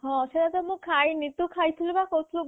ସେଇଟା ମୁଁ ଖାଇନି ତୁ ଖାଇ ଥିଲୁ ପା